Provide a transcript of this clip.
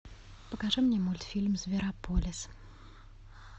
покажи мне мультфильм зверополис